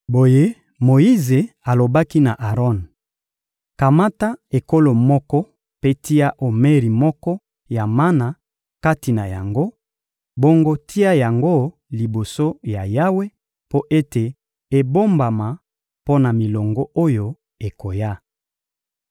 Boye Moyize alobi na Aron: — Kamata ekolo moko mpe tia omeri moko ya mana kati na yango; bongo tia yango liboso ya Yawe mpo ete ebombama mpo na milongo oyo ekoya.